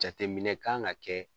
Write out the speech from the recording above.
Jateminɛ kan ga kɛ